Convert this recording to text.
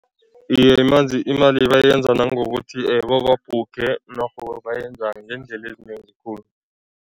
Iye, imali bayenza nangokuthi bababhukhe norho bayenza ngeendlela ezinengi khulu.